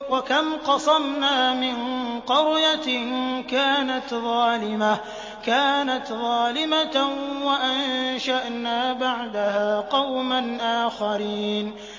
وَكَمْ قَصَمْنَا مِن قَرْيَةٍ كَانَتْ ظَالِمَةً وَأَنشَأْنَا بَعْدَهَا قَوْمًا آخَرِينَ